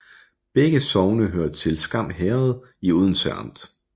Begge sogne hørte til Skam Herred i Odense Amt